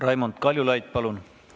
Raimond Kaljulaid, palun!